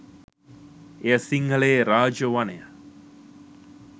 එය සිංහලයේ රාජ වනය